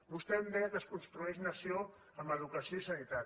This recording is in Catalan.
vostè em deia que es construeix nació amb educació i sanitat